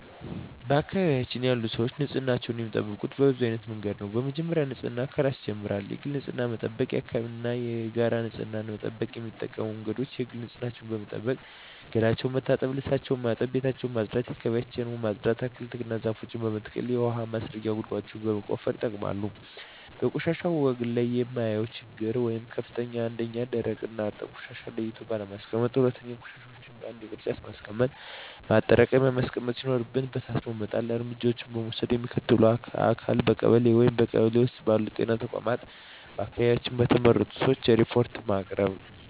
በአካባቢዬ ያሉ ሰዎች ንፅህናቸውን የሚጠብቁት በብዙ አይነት መንገድ ነው በመጀመሪያ ንፅህና ከራስ ይጀምራል የግል ንፅህናን በመጠበቅ የአካባቢን እና የጋራ ንፅህና መጠበቅ። የሚጠቀሙበት መንገድ የግል ንፅህናቸውን በመጠበቅ ገላቸውን መታጠብ ልብሳቸውን ማጠብ ቤታቸውን ማፅዳት አካባቢያቸውን ማፅዳት። አትክልቶችን እና ዛፎችን በመትከል የውሀ ማስረጊያ ጉድጓዶችን በመቆፈር ይጠቀማሉ። በቆሻሻ አወጋገድ ላይ የማየው ችግር ወይም ክፍተት 1ኛ, ደረቅና እርጥብ ቆሻሻዎችን ለይቶ ባለማስቀመጥ 2ኛ, ቆሻሻዎችን በአንድ የቅርጫት ማስቀመጫ ማጠራቀሚያ ማስቀመጥ ሲኖርብን በታትኖ በመጣል። እርምጃ ለመውሰድ ለሚመለከተው አካል ለቀበሌ ,በቀበሌ ውስጥ ባሉ ጤና ተቋማት በአካባቢያችን በተመረጡ ሰዎች ሪፓርት በማቅረብ።